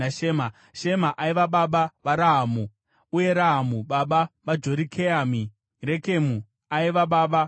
Shema aiva baba vaRahamu, uye Rahamu baba vaJorikeami. Rekemu aiva baba vaShamai.